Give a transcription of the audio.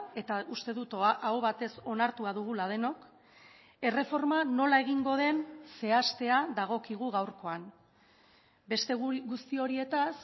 eta uste dut aho batez onartua dugula denok erreforma nola egingo den zehaztea dagokigu gaurkoan beste guzti horietaz